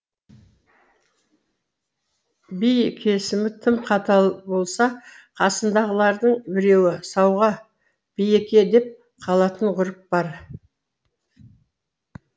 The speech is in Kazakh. би кесімі тым қатал болса қасындағылардың біреуі сауға би еке деп қалатын ғұрып бар